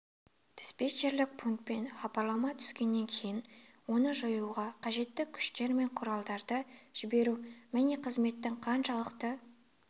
диспетчерлік пунктен хабарлама түскеннен кейін оны жоюға қажетті күштер мен құралдарды жіберу міне қызметтің қаншалықты